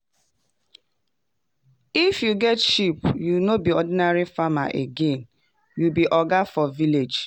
if you get fine sheep you no be ordinary farmer again - you be oga for village.